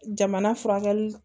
Jamana furakɛli